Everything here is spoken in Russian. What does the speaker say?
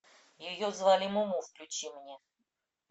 ее звали муму включи мне